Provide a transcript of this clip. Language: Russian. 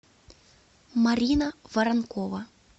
марина воронкова